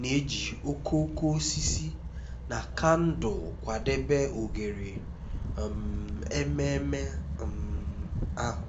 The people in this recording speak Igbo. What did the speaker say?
na-eji okooko osisi na kandụl kwadebe oghere um ememe um ahụ